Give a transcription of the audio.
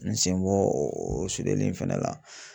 N senbɔ o sudeli in fɛnɛ la.